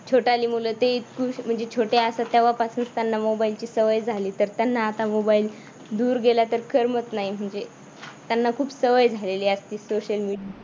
छोटाली मूल ते इथू म्हणजे छोटे असतात ना तेव्हापासूनच त्यांना मोबाईलची सवय झाली तर त्यांना आता मोबाईल दूर गेला तर करमत नाही म्हणजे त्यांना खूप सवय झालेली असते social media